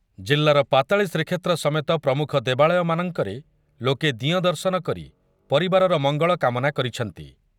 ଜିଲ୍ଲାର ପାତାଳୀ ଶ୍ରୀକ୍ଷେତ୍ର ସମେତ ପ୍ରମୁଖ ଦେବାଳୟମାନଙ୍କରେ ଲୋକେ ଦିଅଁ ଦର୍ଶନ କରି ପରିବାରର ମଙ୍ଗଳ କାମନା କରିଛନ୍ତି ।